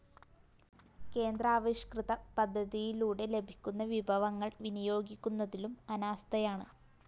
കേന്ദ്രാവിഷ്‌കൃത പദ്ധതിയിലൂടെ ലഭിക്കുന്ന വിഭവങ്ങള്‍ വിനിയോഗിക്കുന്നതിലും അനാസ്ഥയാണ്